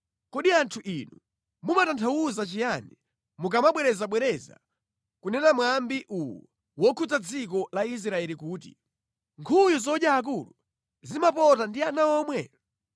“Kodi anthu inu mumatanthauza chiyani mukamabwerezabwereza kunena mwambi uwu wokhudza dziko la Israeli kuti: “ ‘Nkhuyu zodya akulu zimapota ndi ana omwe?’ ”